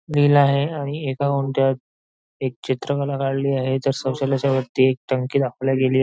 लिहिला आहे आणि एका गुंठ्यात एक चित्रकला काढली आहे तर सोशल याच्यावरती एक टंकी दाखवल्या गेली.